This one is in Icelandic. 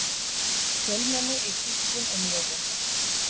Fjölmenni í kirkjum um jólin